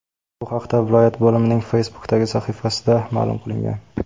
Bu haqda viloyat bo‘limining Facebook’dagi sahifasida ma’lum qilingan .